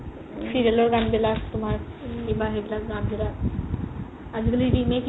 serial ৰ গান বিলাক তুমাৰ কিবা সেইবিলাক গান বিলাক আজিকালি remake